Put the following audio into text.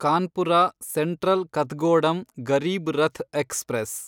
Kanpur Central Kathgodam Garib Rath express